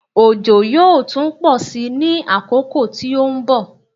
Òjò yóò tún pọ̀ sí ní àkókò tí ó ń bọ̀.